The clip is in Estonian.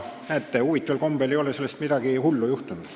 Näete, huvitaval kombel ei ole sellest midagi hullu juhtunud.